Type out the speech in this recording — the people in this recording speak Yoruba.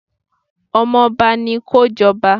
Ọmọba ni kó jọba.